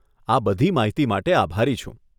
આ બધી માહિતી માટે આભારી છું.